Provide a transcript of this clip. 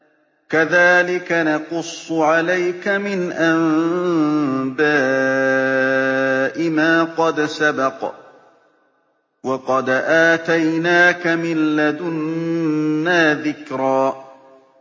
كَذَٰلِكَ نَقُصُّ عَلَيْكَ مِنْ أَنبَاءِ مَا قَدْ سَبَقَ ۚ وَقَدْ آتَيْنَاكَ مِن لَّدُنَّا ذِكْرًا